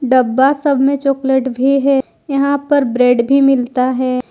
डब्बा सब में चॉकलेट भी है यहां पर ब्रेड भी मिलता है।